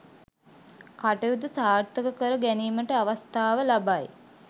කටයුතු සාර්ථක කර ගැනීමට අවස්ථාව ලබයි